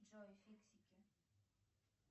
джой фиксики